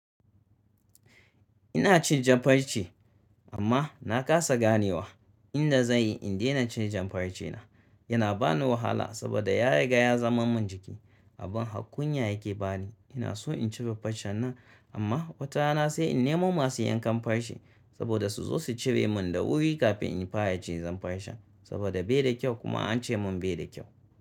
Ina cin jan farce amma na kasa ganewa inda zan yi in dena cin jan farcena. Yana ba ni wahala saboda ya riga ya zaman min jiki. Abin har-kunya yake bani. Ina so in cire farcen nan amma watarana sai in nemo masu yankan farce saboda su zo su cire min da wuri kafin in fara cizan farce saboda bai da kyau kuma an ce mun bai da kyau.